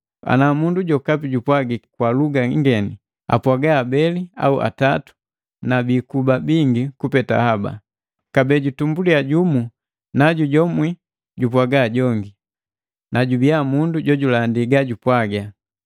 Ana mundu jokapi jupwagiki kwa luga ingeni, apwaga abeli au atatu na bikuba bingi kupeta haba, kabee jutumbuliya jumu najujomwi jupwaga jongi, najubiya mundu jojulandi gajupwaga.